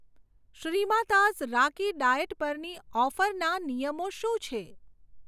શ્રીમાતાઝ રાગી ડાયેટ પરની ઓફરના નિયમો શું છે?